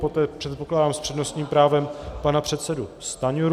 Poté předpokládám s přednostním právem pana předsedu Stanjuru.